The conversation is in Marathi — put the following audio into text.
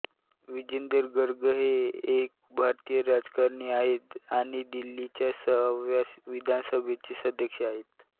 विजेंदर गर्ग हे एक भारतीय राजकारणी आहेत आणि दिल्लीच्या सहाव्या विधानसभेचे सदस्य आहेत